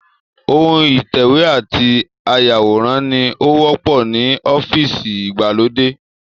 Ohun ìtẹ̀wé àti áyàwòrán ni ó wọ́pọ̀ ní ọ́fíìsì ìgbàlódé